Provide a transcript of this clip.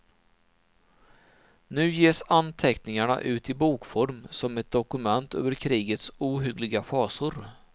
Nu ges anteckningarna ut i bokform som ett dokument över krigets ohyggliga fasor.